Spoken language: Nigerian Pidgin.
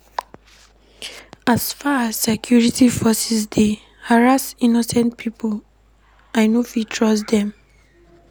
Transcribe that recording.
As far as sey security forces dey harass innocent pipo, I no fit trust dem.